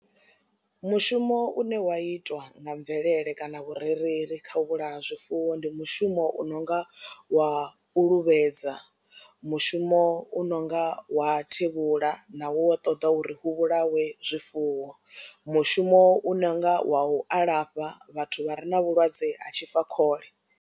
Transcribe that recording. Mushumo une wa itwa nga mvelele kana vhurereli kha u vhulaya zwifuwo ndi mushumo u nonga wa u luvhedza, mushumo u u nonga wa thevhula nawo u a ṱoḓa uri hu vhulawe zwifuwo, mushumo u nonga wa u alafha vhathu vha re na vhulwadze ha tshifa khole.